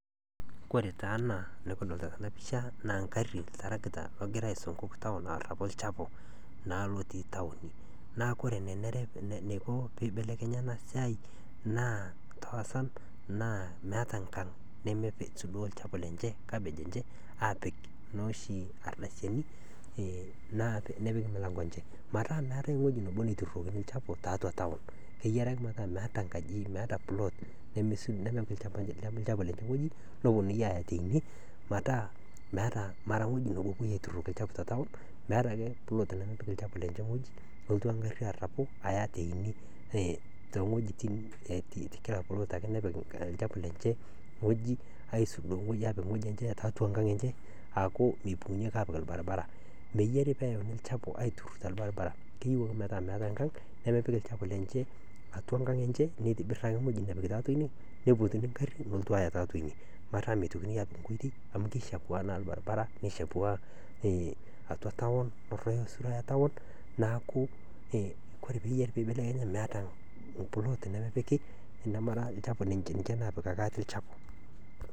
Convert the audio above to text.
Kore taa ana nikidolita tena mpisha naa mgarii iltarakita logira aisunkuk taon arapu ilchapu naa lotii taoni. Naa kore lelo neiko peibelekenya ena siai naa meata nkang nemeisudoo ilchapu lenye, kabej enche aapik nooshu ardasini naa nepiki lmilango enche, naa meatae wueji nabo naituurokini ilchapu tiatua taon, keyari ake mataa meata nkaji, meeta pulot nemeipik ilchapu lenye ngoji neponii aaya teine mataa meata ,mara ngoji nabo epoi aituuroki ilchapu te taon, meata ake puloot nemepik ilchapu lenye ngoji nelotu ingarri arapu aya teine, te ngojitin ekila puloot ,naake nepiki ilchapu lenye ngoji aisudoo ngoji aapik ngoji enche tiatua ngoji enche aaku meipung'unyeki aapik irbaribara. Meyare peanu ilchapu aitururr te ilbaribara, keyeu ake metaa meata enkang nemepik ilchapu lenche atua nkang enche, neitibir ake ngoji napik tiatua inie neipotuni ingarri nelotu aya tiatua inie, metaa meitokini aapik nkoitei amu keishapuana naa irbaribarani, neishapuana atua taon, esura etaon naa ku kore peeyarimeata puloot nemepiki, namara ilchapu ninche naapikaki ata ilchapu.